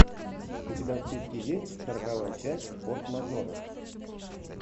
у тебя в списке есть сороковая часть форс мажоров